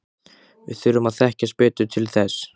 Við þurfum að þekkjast betur til þess.